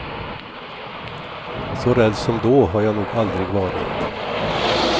Så rädd som då har jag nog aldrig varit.